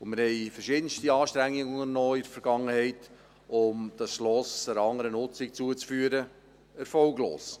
Wir haben in der Vergangenheit verschiedenste Anstrengungen unternommen, um das Schloss einer anderen Nutzung zuzuführen – erfolglos.